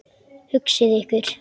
Hugsið ykkur!